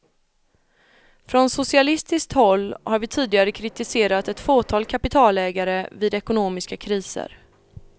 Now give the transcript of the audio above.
Från socialistiskt håll har vi tidigare kritiserat ett fåtal kapitalägare vid ekonomiska kriser.